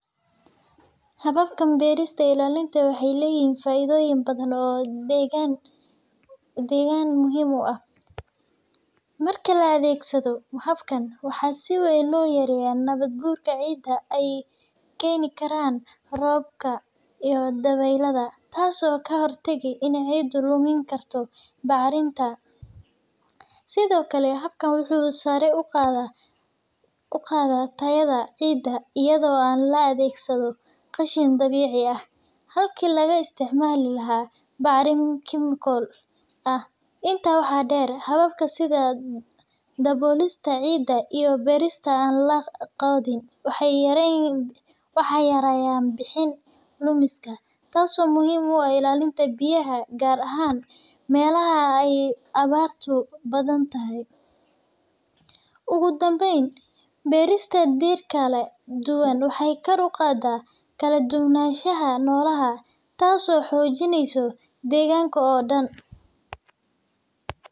Hawabka barista ila linta waxay layihin faidoyin badan oo daganka dagan muhiim u ah, marki la adgsadoh habkan waxaa siwan loo goriya nawad gurka cida ayay ganiran roobka iyo dawal lahad taasi oo ka hortagi in cida luminikartoh macrita, side okle habka wuxu sara uqadah uqadah, tayada cida aydo ay lo adgsadoh qashin dawici ah, halki laga isticmali lahay macrinada chimical ah inta ah wax dar hawab side dawolista cida iyo barista allah wax yan wax yarayan bixin dumiska taasi oo muhiim u ah ila ilanta biyah gar ahan malaha ay ka yihin awartu badan tahay, ogu dambayan barista midkle waxay gor uqadah kale dug nashaha nolaha taasi oo xojinaysoh daganka oo dan.